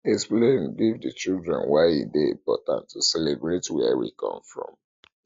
explain give di children why e dey important to celebrate where we come from